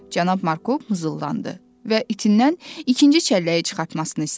Cənab Markov muzullandı və itindən ikinci çəlləyi çıxartmasını istədi.